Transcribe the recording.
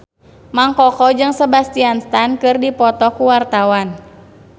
Mang Koko jeung Sebastian Stan keur dipoto ku wartawan